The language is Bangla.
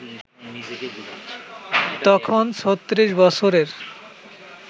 তখন ৩৬ বৎসরের